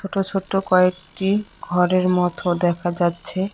ছোট্ট ছোট্ট কয়েকটি ঘরের মতো দেখা যাচ্ছে।